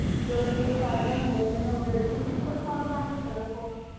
belt गिल्ट काढले ना भो त्याहीने बेल्टचा हिथच मारू लागले सगळे पोर